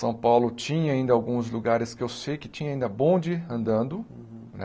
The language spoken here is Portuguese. São Paulo tinha ainda alguns lugares que eu sei que tinha ainda bonde andando, né?